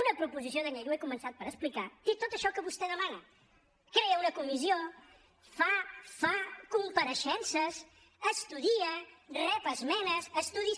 una proposició de llei ho he començat per explicar té tot això que vostè demana crea una comissió fa compareixences estudia rep esmenes estudis